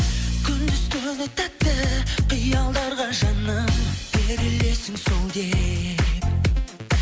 күндіз түні тәтті қиялдарға жаным берілесің сол деп